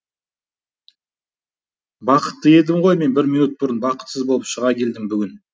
бақытты едім ғой мен бір минут бұрын бақытсыз болып шыға келдім бүгін